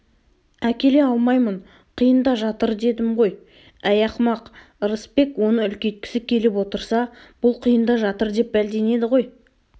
әкеле алмаймын қиында жатыр дедім ғой әй ақымақ ырысбек оны үлкейткісі келіп отырса бұл қиында жатыр деп бәлденеді ғой